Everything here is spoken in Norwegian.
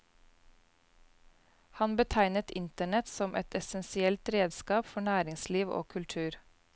Han betegnet internett som et essensielt redskap for næringsliv og kultur.